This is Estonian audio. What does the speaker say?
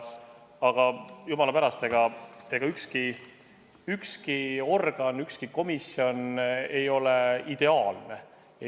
Aga jumala eest, ükski organ, ükski komisjon ei ole ideaalne.